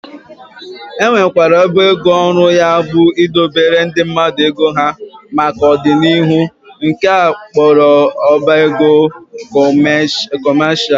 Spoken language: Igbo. E nwekwara ọba ego ọrụ ya bụ idobere ndị mmadụ ego ha maka ọ dị n'ihu nke a kpọrọ ọba ego kọmesha